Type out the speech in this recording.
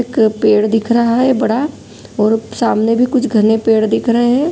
एक पेड़ दिख रहा है बड़ा और सामने भी कुछ बड़े पेड़ दिख रहे हैं।